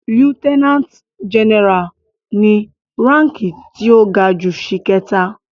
Lieutenant general ni ránki tí ó ga jù ṣìkẹta.